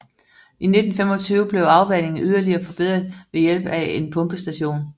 I 1925 blev afvandingen yderligere forbedret ved hjælp af en pumpestation